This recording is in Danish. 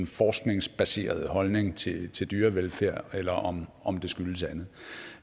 forskningsbaserede holdninger til til dyrevelfærd eller om om det skyldes andet